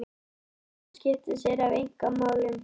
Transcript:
Hann er að skipta sér af einkamálum